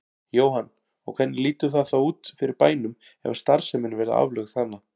Jóhann: Og hvernig lítur það þá út fyrir bænum ef að starfsemin verði aflögð þarna?